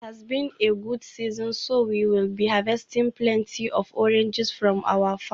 It has been a good season so we will be harvesting plenty of oranges from our farm.